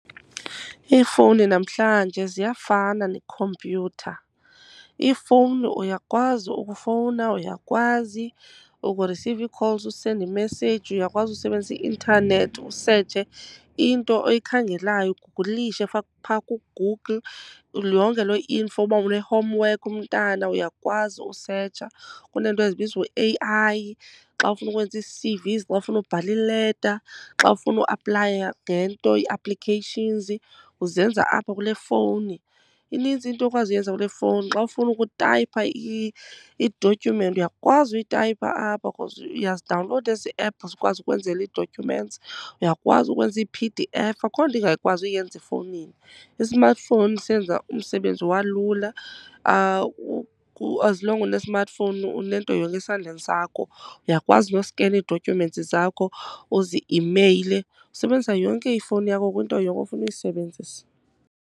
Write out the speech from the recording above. Iifowuni namhlanje ziyafana nekhompyutha. Ifowuni uyakwazi ukufowuna, uyakwazi ukurisiva ii-calls, usende imeseyiji, uyakwazi usebenzisa i-intanethi usetshe into oyikhangelayo, ugugulishe phaa kuGoogle yonke loo info. Uba une-homework umntana uyakwazi usetsha. Kuneento ezibizwa u-A_I, xa ufuna ukwenza ii-C_Vs, xa ufuna ubhala ileta, xa ufuna ukuaplaya ngento ii-applications, uzenza apha kule fowuni. Inintsi into okwazi uyenza kule fowuni. Xa ufuna ukutayipha i-document uyakwazi uyitayipha apha because uyazidawunlowuda ezi ephu zikwazi ukwenzela ii-documents. Uyakwazi ukwenza ii-P_D_F. Akho nto ingakwazi uyenza efowunini. I-smartphone senza umsebenzi walula, as long une-smartphone unento yonke esandleni sakho. Uyakwazi noskena ii-documents zakho uzi-imeyile. Usebenzisa yonke ifowuni yakho kwinto yonke ofuna uyisebenzisa.